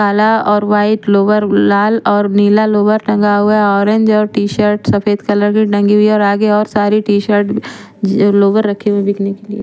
काला और white lower लाल और नीला लोवर टेंगा हुआ है ओरेंज और टीसर्टस सफ़ेद कलर की टंगी हुई है और आगे और सारी टीसर्ट लोवर रखे हुए है बिकने के लिए।